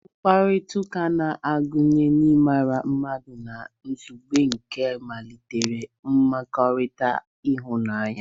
Mkpakọrịta na-agụnye ịmara mmadụ na nzube nke ịmalite mmekọrịta ịhụnanya.